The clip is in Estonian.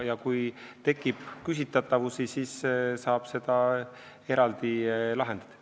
Kui tekib küsitavusi, siis saab neid eraldi lahendada.